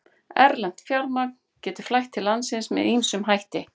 Erlent fjármagn getur flætt til landsins með ýmsum hætti.